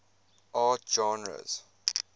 art genres